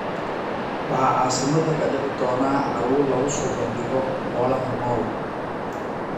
Waxaa caasimadda ka dhici doona carwo lagu soo bandhigo xoolaha nool.